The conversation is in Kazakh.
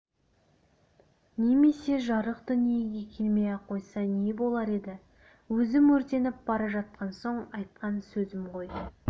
немесе жарық дүниеге келмей-ақ қойса не болар еді өзім өртеніп бара жатқан соң айтқан сөзім ғой